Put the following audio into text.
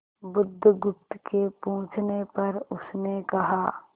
बुधगुप्त के पूछने पर उसने कहा